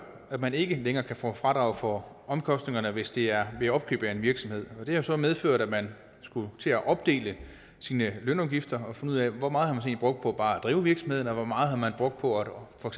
at man ikke længere kan få fradrag for omkostningerne hvis det er ved opkøb af en virksomhed og det har så medført at man skulle til at opdele sine lønudgifter og finde ud af hvor meget man har brugt på bare at drive virksomheden og hvor meget man har brugt på for